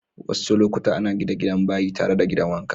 Wassu lokuta ana gina gidan bayi tare da gidan wanka.